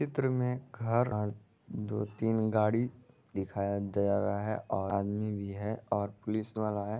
चित्र में घर और दो-तीन गाड़ी दिखाई दे रहा है और आदमी भी है और पुलिस वाला है।